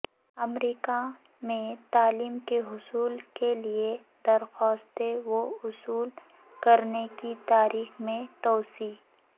امریکہ میں تعلیم کے حصول کے لیے درخواستیں وصول کرنے کی تاریخ میں توسیع